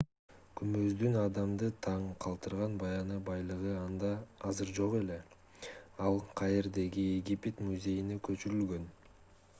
күмбөздүн адамды таң калтырган баягы байлыгы анда азыр жок ал каирдеги египет музейине көчүрүлгөн